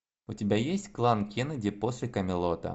у тебя есть клан кеннеди после камелота